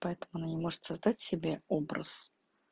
поэтому она не может создать себе образ